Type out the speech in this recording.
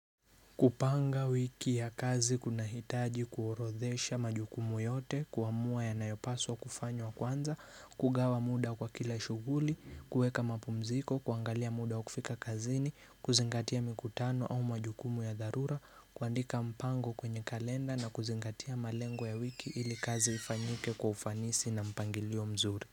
Kupanga wiki ya kazi kuna hitaji kuorodhesha majukumu yote, kuamua yanayopaswa kufanywa wa kwanza, kugawa muda kwa kila shughuli, kuweka mapumziko, kuangalia muda wa kufika kazini, kuzingatia mikutano au majukumu ya dharura, kuandika mpango kwenye kalenda na kuzingatia malengo ya wiki ili kazi ifanyike kwa ufanisi na mpangilio mzuri.